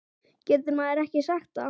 Getur maður ekki sagt það?